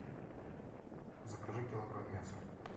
закажи килограмм мяса